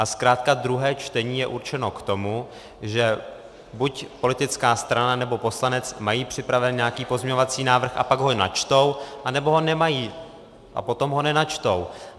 A zkrátka druhé čtení je určeno k tomu, že buď politická strana, nebo poslanec mají připraven nějaký pozměňovací návrh a pak ho načtou, anebo ho nemají a potom ho nenačtou.